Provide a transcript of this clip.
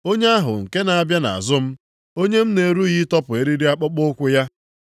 Onye ahụ nke na-abịa nʼazụ m, onye m na-erughị ịtọpụ eriri akpụkpọụkwụ ya.”